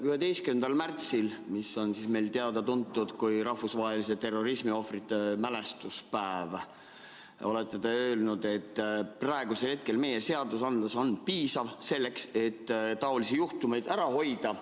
11. märtsil, mis on meil teada-tuntud kui rahvusvaheline terrorismiohvrite mälestamise päev, ütlesite te, et praegu on meie seadused piisavad selleks, et taolisi juhtumeid ära hoida.